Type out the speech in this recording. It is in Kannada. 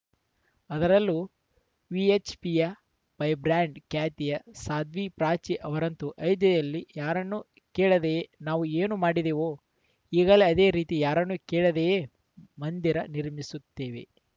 ಅದರಲ್ಲೂ ವಿಎಚ್‌ಪಿಯ ಫೈರ್‌ಬ್ರ್ಯಾಂಡ್‌ ಖ್ಯಾತಿಯ ಸಾಧ್ವಿ ಪ್ರಾಚಿ ಅವರಂತೂ ಅಯೋಧ್ಯೆಯಲ್ಲಿ ಯಾರನ್ನೂ ಕೇಳದೆಯೇ ನಾವು ಏನು ಮಾಡಿದೆವೋ ಈಗಲೇ ಅದೇ ರೀತಿ ಯಾರನ್ನೂ ಕೇಳದೆಯೇ ಮಂದಿರ ನಿರ್ಮಿಸುತ್ತೇವೆ